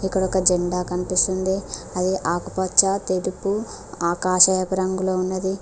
ఇక్కడ ఒక జెండా కనిపిస్తుంది అది ఆకుపచ్చ తెలుపు ఆకాశయపరంగా ఉన్నది.